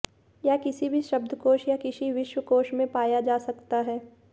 यह किसी भी शब्दकोश या किसी विश्वकोश में पाया जा सकता है